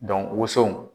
woso